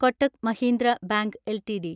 Kotak Mahindra bank LTD